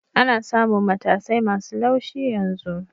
Ana samun matasai masu laushi yanzu